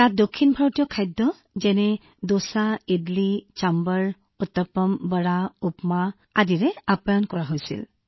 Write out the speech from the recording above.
গতিকে আমি তালৈ যোৱাৰ লগে লগে আমাক দোচা ইডলি সম্ভাৰ উত্তাপম ভাদা উপমা পৰিৱেশন কৰা হৈছিল